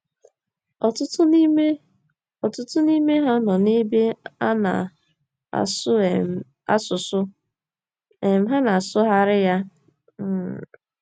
Ọtụtụ n’ime Ọtụtụ n’ime ha nọ n’ebe a na - asụ um asụsụ um ha na - asụgharị ya um.